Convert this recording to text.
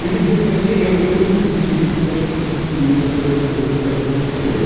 Hoje em dia assim nem eu, eu também não critico, porque acho que as pessoas têm o direito de elas fazerem o que elas bem entendem eu...